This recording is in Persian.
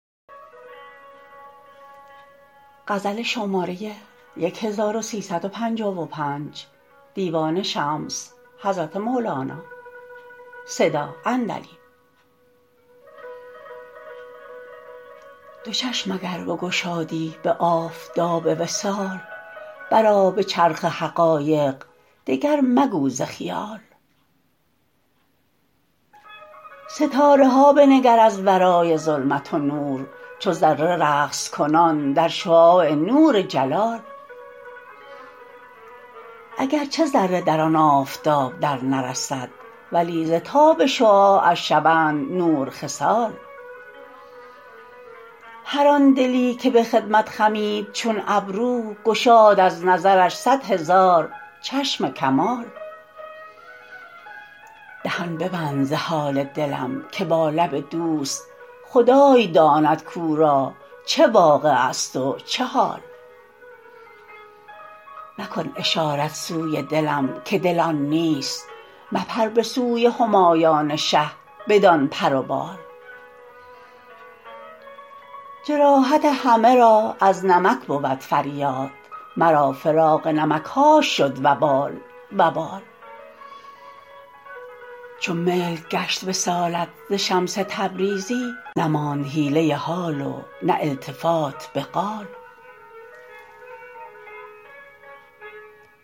دو چشم اگر بگشادی به آفتاب وصال برآ به چرخ حقایق دگر مگو ز خیال ستاره ها بنگر از ورای ظلمت و نور چو ذره رقص کنان در شعاع نور جلال اگر چه ذره در آن آفتاب درنرسد ولی ز تاب شعاعش شوند نور خصال هر آن دلی که به خدمت خمید چون ابرو گشاد از نظرش صد هزار چشم کمال دهان ببند ز حال دلم که با لب دوست خدای داند کو را چه واقعه ست و چه حال مکن اشارت سوی دلم که دل آن نیست مپر به سوی همایان شه بدان پر و بال جراحت همه را از نمک بود فریاد مرا فراق نمک هاش شد وبال وبال چو ملک گشت وصالت ز شمس تبریزی نماند حیله حال و نه التفات به قال